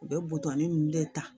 U bɛ buton ni nunnu de ta